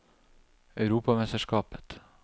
europamesterskapet